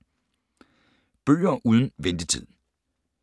Bøger uden ventetid